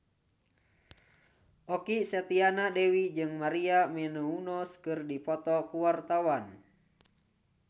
Okky Setiana Dewi jeung Maria Menounos keur dipoto ku wartawan